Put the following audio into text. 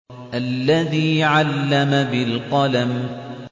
الَّذِي عَلَّمَ بِالْقَلَمِ